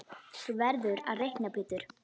Þú verður að reikna Pétur.